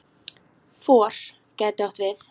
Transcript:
FOR gæti átt við